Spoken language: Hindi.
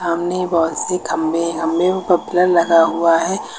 सामने बहुत खंबे लगा हुआ हैं।